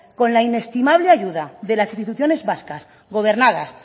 con la inestimable ayuda de las instituciones vascas gobernadas